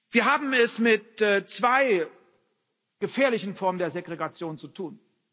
Wir haben es mit zwei gefährlichen Formen der Segregation zu tun.